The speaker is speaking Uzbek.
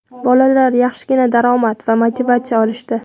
Bolalar yaxshigina daromad va motivatsiya olishdi) .